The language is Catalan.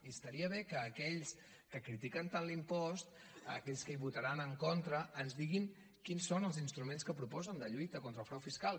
i estaria bé que aquells que critiquen tant l’impost aquells que hi votaran en contra ens diguin quins són els instruments que proposen de lluita contra el frau fiscal